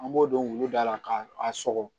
An b'o don wulu da la k'a sɔgɔ